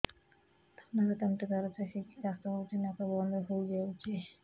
ଥଣ୍ଡାରେ ତଣ୍ଟି ଦରଜ ହେଇକି କାଶ ହଉଚି ନାକ ବନ୍ଦ ହୋଇଯାଉଛି